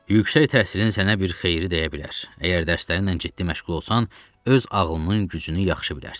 Yüksək təhsilin sənə bir xeyri dəyə bilər, əgər dərslərinlə ciddi məşğul olsan, öz ağlının gücünü yaxşı bilərsən.